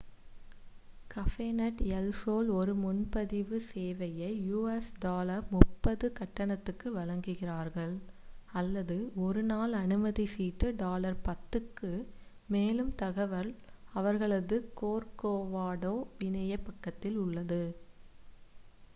கபேநெட் El Sol ஒரு முன்பதிவு சேவையை us$ 30 கட்டணத்திற்கு வழங்குகிறார்கள் அல்லது ஒரு1 நாள் அனுமதி சீட்டு $10 க்கு; மேலும் தகவல் அவர்களது கோர்கோவாடோ இணையப் பக்கத்தில் உள்ளது